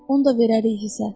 Onu da verərik hissə.